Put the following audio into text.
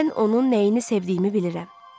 Mən onun nəyini sevdiyimi bilirəm.